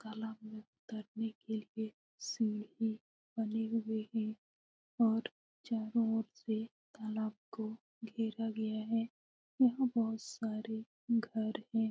तालाब में तैरने के लिए स्विमिंग बने हुए है और चारो और से तालाब को घेरा गया है । वह बहुत सारे घर है ।